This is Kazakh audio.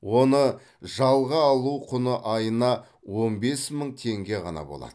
оны жалға алу құны айына он бес мың теңге ғана болады